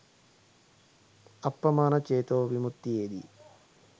අප්පමාණ චේතෝ විමුත්තියේදී